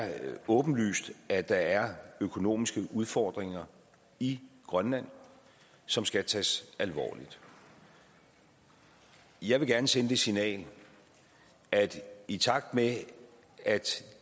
åbenlyst at der er økonomiske udfordringer i grønland som skal tages alvorligt jeg vil gerne sende det signal at i takt med at